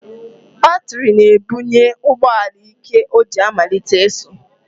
Batịrị na-ebunye ụgbọala íké o ji amalite ịsụ.